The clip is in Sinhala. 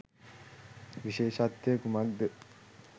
විශේෂත්වය කුමක්ද?